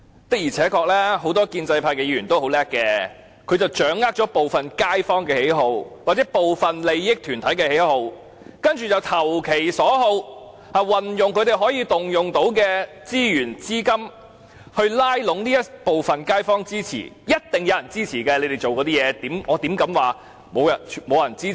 的而且確，很多建制派議員都很聰明，他們掌握了部分街坊或部分利益團體的喜好，投其所好，運用他們可動用的資源和資金來拉攏這部分街坊的支持，所以他們所做的事一定會有人支持，我怎敢說他們沒有支持呢？